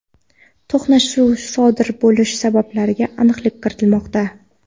to‘qnashuv sodir bo‘lish sabablariga aniqlik kiritilmoqda.